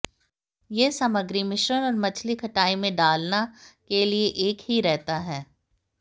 यह सामग्री मिश्रण और मछली खटाई में डालना के लिए एक ही रहता है